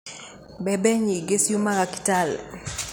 Mbembe nyingĩ ciumaga Kitale